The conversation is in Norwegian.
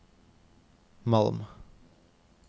Malm